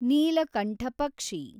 ನೀಲಕಂಠ ಪಕ್ಷಿ